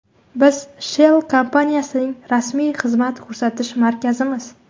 Biz Shell kompaniyasining rasmiy xizmat ko‘rsatish markazimiz.